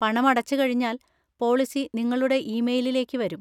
പണമടച്ച് കഴിഞ്ഞാൽ പോളിസി നിങ്ങളുടെ ഇമെയ്‌ലിലേക്ക് വരും.